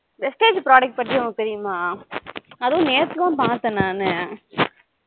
vistage product பத்தி உனக்கு தெரியுமா அது நேத்து தான் பாத்தேன் நானு